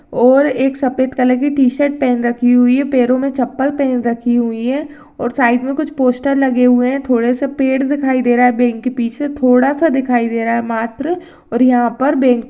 और एक सफ़ेद कलर टीशर्ट पहन रखी हुई है पैरो में चपल पहन रखी हुई है और साइड में कुछ पोस्टर लगे हुए है थोड़ा सा पेड़ दिखाई दे रहा है बांके पीछे थोड़ा सा दिखाई दे रहा है मात्र--